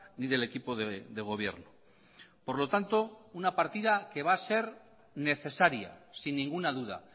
ni del equipo de gobierno por lo tanto una partida que va a ser necesaria sin ninguna duda